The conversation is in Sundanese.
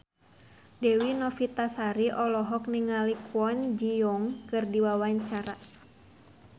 Dewi Novitasari olohok ningali Kwon Ji Yong keur diwawancara